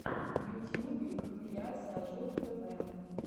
в ютьюбе компиляция жук тв